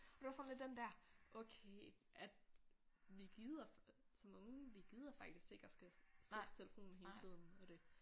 Og det var sådan lidt den der okay at vi gider som unge vi gider faktisk ikke at skal sidde på telefonen hele tiden og det